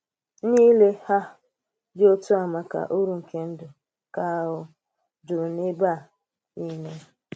Ǹlélị́ um dị́ otú à maka ùrú ùrú nke ndụ̀ ka um jùrù n’ebe um nile.